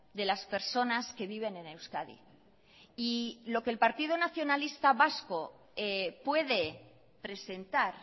de las personas que viven en euskadi y lo que el partido nacionalista vasco puede presentar